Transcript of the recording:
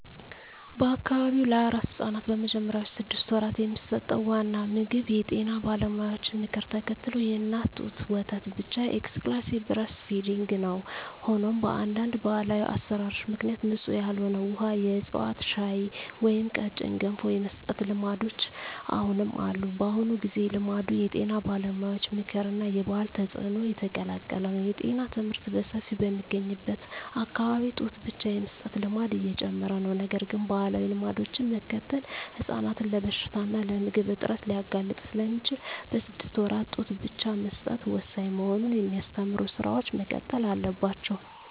በአካባቢው ለአራስ ሕፃናት በመጀመሪያዎቹ ስድስት ወራት የሚሰጠው ዋና ምግብ የጤና ባለሙያዎችን ምክር ተከትሎ የእናት ጡት ወተት ብቻ (Exclusive Breastfeeding) ነው። ሆኖም፣ በአንዳንድ ባህላዊ አሠራሮች ምክንያት ንጹሕ ያልሆነ ውሃ፣ የዕፅዋት ሻይ ወይም ቀጭን ገንፎ የመስጠት ልማዶች አሁንም አሉ። በአሁኑ ጊዜ፣ ልማዱ የጤና ባለሙያዎች ምክር እና የባህል ተጽዕኖ የተቀላቀለ ነው። የጤና ትምህርት በሰፊው በሚገኝበት አካባቢ ጡት ብቻ የመስጠት ልማድ እየጨመረ ነው። ነገር ግን፣ ባህላዊ ልማዶችን መከተል ሕፃናትን ለበሽታ እና ለምግብ እጥረት ሊያጋልጥ ስለሚችል፣ በስድስት ወራት ጡት ብቻ መስጠት ወሳኝ መሆኑን የሚያስተምሩ ሥራዎች መቀጠል አለባቸው።